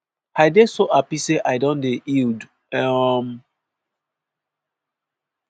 i dey so happy say i don dey healed." um